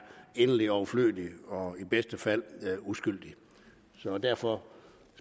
inderlig overflødigt og i bedste fald uskyldigt så derfor